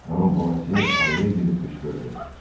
Xanım Bonasiya araya girib qışqırdı.